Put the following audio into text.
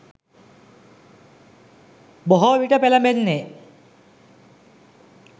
බොහෝවිට පෙළඹෙන්නේ